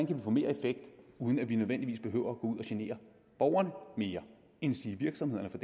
kan få mere effekt uden at vi nødvendigvis behøver ud at genere borgerne endsige virksomhederne for